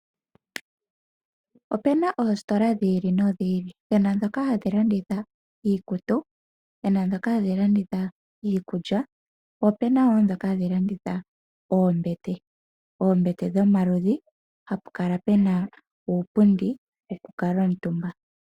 Opu na oositola dhi ili nodhi ili . Opu na ndhoka hadhi landitha iikutu, po opu na ndhoka hadhi landitha iikulya , po opu na woo ndhoka hadhi landitha oombete , oombete dhomaludhi hapu kala puna uupundi wokukala omutumba .